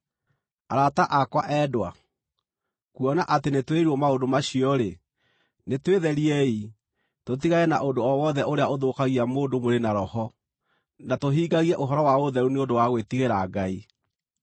Arata akwa endwa, kuona atĩ nĩtwĩrĩirwo maũndũ macio-rĩ, nĩtwĩtheriei, tũtigane na ũndũ o wothe ũrĩa ũthũkagia mũndũ mwĩrĩ na roho, na tũhingagie ũhoro wa ũtheru nĩ ũndũ wa gwĩtigĩra Ngai.